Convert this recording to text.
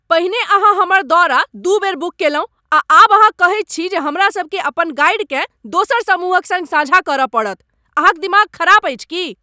पहिने अहाँ हमर दौरा दू बेर बुक कयलहुँ आ आब अहाँ कहैत छी जे हमरा सभकेँ अपन गाइडकेँ दोसर समूहक सङ्ग साझा करय पड़त। अहां क दिमाग ख़राब अछि की ?